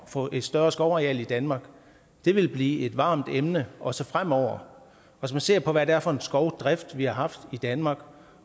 få et større skovareal i danmark vil blive et varmt emne også fremover hvis man ser på hvad det er for en skovdrift vi har haft i danmark